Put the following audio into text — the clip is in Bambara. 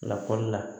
Lakɔli la